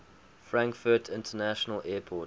frankfurt international airport